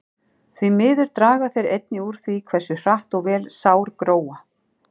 Því miður draga þeir einnig úr því hversu hratt og vel sár gróa.